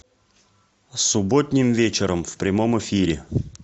субботним вечером в прямом эфире